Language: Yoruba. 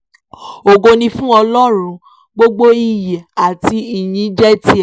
ògo ni fún ọlọ́run gbogbo iyì àti ìyìn jẹ́ tiẹ̀